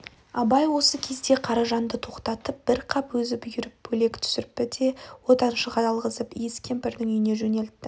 абай осы кезде қаражанды тоқтатып бір қап өзі бұйырып бөлектүсірпі де отыншыға алғызып иіс кемпірдің үйіне жөнелтті